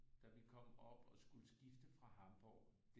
Da vi kom op og skulle skifte fra Hamborg